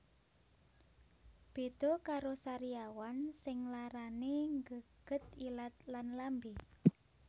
Beda karo sariawan sing larane nggeget ilat lan lambe